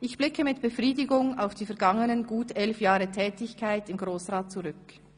Ich blicke mit Befriedigung auf die vergangenen gut elf Jahre Tätigkeit im Grossen Rat zurück.